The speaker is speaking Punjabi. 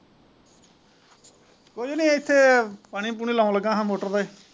ਕੁਝ ਨਹੀਂ ਇੱਥੇ ਪਾਣੀ ਪੁਨਿ ਲਾਉਣਾ ਲੱਗਾ ਹਾਂ ਮੋਟਰ ਤੇ।